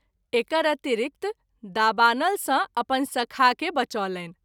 एकर अतिरिक्त दाबानल सँ अपन सखा के बचौलनि।